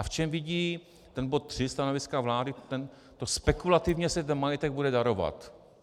A v čem vidí ten bod 3 stanoviska vlády to "spekulativně se ten majetek bude darovat".